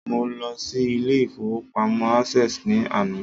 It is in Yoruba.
Mo lọ sí ilé ìfowópamọ́ Access ní àná